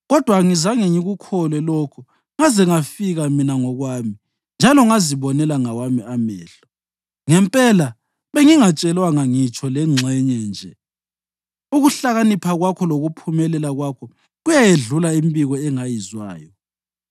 Kodwa angizange ngikukholwe lokho ngaze ngafika mina ngokwami njalo ngazibonela ngawami amehlo. Ngempela, bengingatshelwanga ngitsho lengxenye nje; ukuhlakanipha kwakho lokuphumelela kwakho kuyayedlula imibiko engayizwayo.